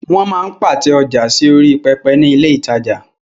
Wọ́n máa ń pàtẹ ọjà sí orí pẹpẹ ní ilé ìtajà.